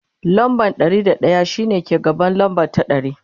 lamba Ɗari da daya shine ke gaban lamba ta ɗari